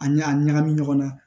A ɲa a ɲagami ɲɔgɔn na